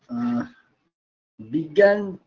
উম্ বিজ্ঞান